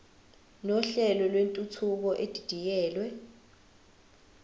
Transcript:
nohlelo lwentuthuko edidiyelwe